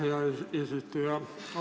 Aitäh, hea eesistuja!